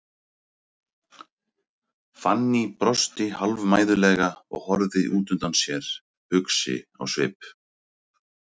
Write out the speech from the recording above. Fanný brosti hálfmæðulega og horfði út undan sér, hugsi á svip.